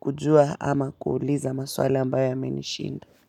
kujua ama kuuliza maswali ambayo yamenishinda.